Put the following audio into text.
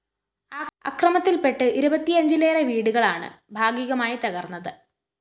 അക്രമത്തില്‍പെട്ട് ഇരപത്തിയഞ്ചിലേറെ വീടുകളാണ് ഭാഗികമായി തകര്‍ന്നത്